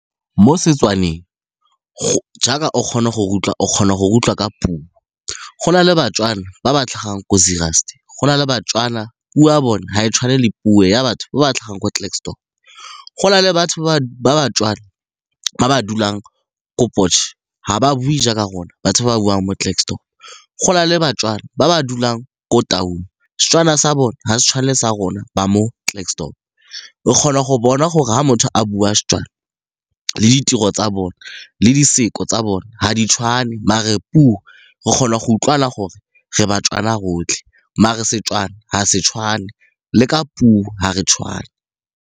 Mo Setswaneng jaaka o kgona go re utlwa, o kgona go re utlwa ka puo, go na le baTswana ba ba tlhagang ko se Zeerust, go na le baTswana puo ya bone ga e tshwane le puo ya batho ba ba tlhagang kwa Klerksdorp. Go na le batho baTswana ba ba dulang ko Potch, Ga ba bue jaaka rona batho ba ba buang mo Klerksdorp gona le baTswana ba ba dulang ko Taung, Setswana sa bone ga se tshwane le sa rona ba mo Klerksdorp, o kgona go bona gore ga motho a bua Setswana le ditiro tsa bone le di siko tsa bone ga di tshwane mare puo re kgona go utlwana gore re baTswana rotlhe mare Setswana ga se tshwane le ka puo ga re tshwane.